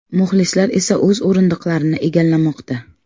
Muxlislar esa o‘z o‘rindiqlarini egallamoqda.